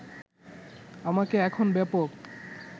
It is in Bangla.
আমাকে এখন ব্যাপক